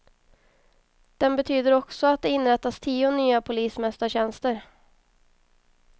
Den betyder också att det inrättas tio nya polismästartjänster.